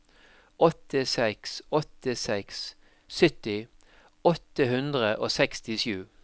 åtte seks åtte seks sytti åtte hundre og sekstisju